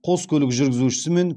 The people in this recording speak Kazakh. қос көлік жүргізушісі мен